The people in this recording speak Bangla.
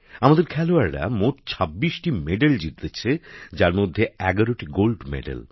আমাদের খেলোয়াড়রা মোট ২৬টি পদক জিতেছেন যার মধ্যে ১১টি সোনা